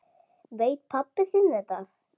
Veit pabbi þinn þetta?